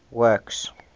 works